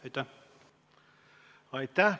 Aitäh!